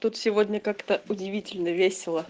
тут сегодня как-то удивительно весело